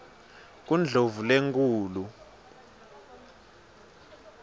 kundlovulenkulu